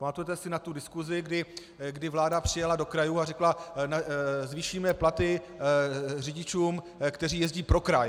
Pamatujete si na tu diskusi, kdy vláda přijela do krajů a řekla: zvýšíme platy řidičům, kteří jezdí pro kraj.